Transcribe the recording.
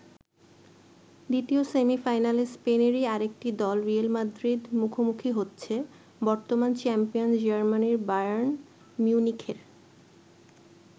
দ্বিতীয় সেমিফাইনালে স্পেনেরই আরেকটি দল রিয়েল মাদ্রিদ মুখোমুখি হচ্ছে বর্তমান চ্যাম্পিয়ন জার্মানির বায়ার্ন মিউনিখের।